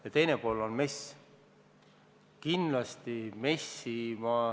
Ja teine pool on MES.